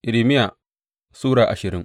Irmiya Sura ashirin